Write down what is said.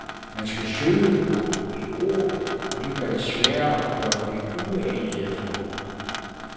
Man skal søge på et ord, og det gør det sværere at gøre uanede fund.